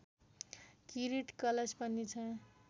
किरीट कलश पनि छ